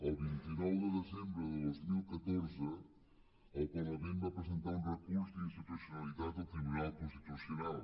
el vint nou de desembre de dos mil catorze el parlament va presentar un recurs d’inconstitucionalitat al tribunal constitucional